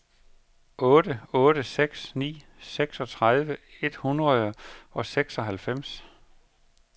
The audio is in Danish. otte otte seks ni seksogtredive et hundrede og seksoghalvfems